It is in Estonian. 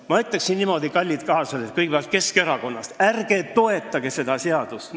Ma ütleksin niimoodi: kallid kaaslased, eelkõige Keskerakonnast, ärge toetage seda seaduseelnõu!